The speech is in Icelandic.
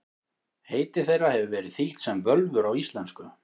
Heiti þeirra hefur verið þýtt sem völvur á íslensku.